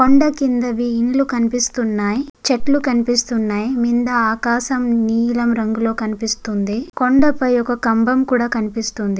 కొండ కిందవి ఇల్లు కనిపిస్తున్నయ్. చెట్లు కనిపిస్తున్నయ్. కింద ఆకాశం నీలం రంగులో కనిపిస్తుంది. కొండపై ఒక కంబం కూడా కనిపిస్తుంది.